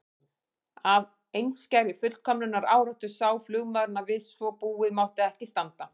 Af einskærri fullkomnunaráráttu sá flugmaðurinn að við svo búið mátti ekki standa.